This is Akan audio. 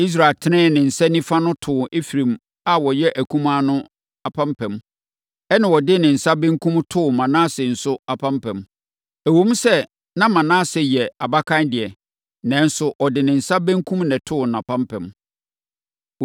Israel tenee ne nsa nifa de too Efraim a ɔyɛ akumaa no apampam, ɛnna ɔde ne nsa benkum no too Manase nso apampam. Ɛwom sɛ na Manase yɛ abakan deɛ, nanso ɔde ne nsa benkum na ɛtoo nʼapampam.